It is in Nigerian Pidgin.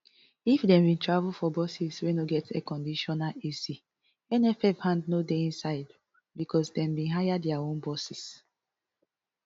if dem bin travel for buses wey no get airconditioner ac nff hand no dey inside becos dem bin hire dia own buses